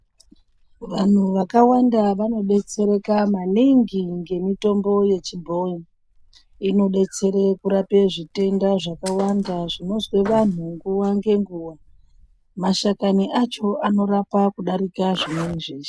Vantu vakawanda vandodetsereka maningi nemitombo yechibhoyi inodetsera kurapa zvitenda zvakawanda zvinonzwa vantu nguwa ngenguwa. Mashakani acho anorapa kudarika zvimweni zveshe.